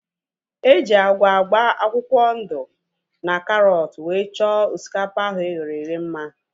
Eji agwa agba akwụkwọ ndụ na karọt wee chọọ osikapa ahu eghere eghe mma